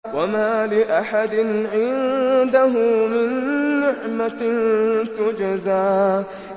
وَمَا لِأَحَدٍ عِندَهُ مِن نِّعْمَةٍ تُجْزَىٰ